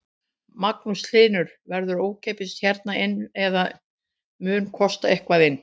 Magnús Hlynur: Verður ókeypis hérna inn eða mun kosta eitthvað inn?